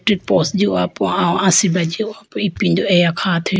pos jihopo aw asibra jihopo ipindo eya khathuyi.